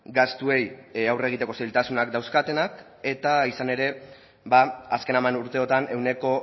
gastuei aurre egiteko zailtasunak dauzkatenak eta izan ere azken hamar urteotan ehuneko